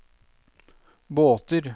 båter